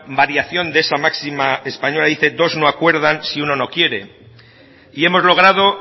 variación de esa máxima española dice dos no acuerdan si uno no quiere y hemos logrado